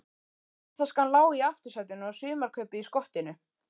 Ferðataskan lá í aftursætinu og sumarkaupið í skottinu.